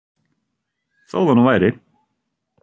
Þó það nú væri!